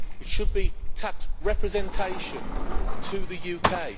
It should be tax representation to the UK